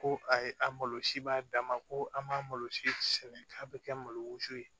Ko ayi a malosi b'a dan ma ko an malosi sɛnɛ k'a bɛ kɛ malo si ye